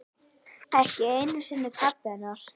Ekki einu sinni pabbi hennar.